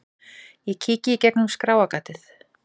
Ég kíki í gegnum skráargatið.